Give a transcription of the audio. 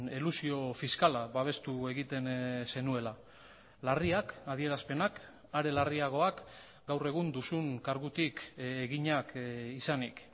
elusio fiskala babestu egiten zenuela larriak adierazpenak are larriagoak gaur egun duzun kargutik eginak izanik